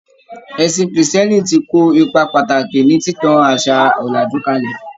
Ẹ̀sìn krìstìẹ́nì ti kó ipa pàtàkì ní títan àṣà òlàjú kálẹ̀.